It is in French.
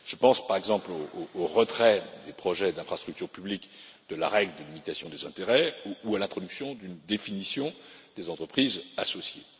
Je pense, par exemple, au retrait des projets d'infrastructures publiques de la règle de limitation des intérêts ou à l'introduction d'une définition des entreprises associées.